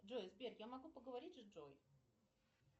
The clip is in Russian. джой сбер я могу поговорить с джой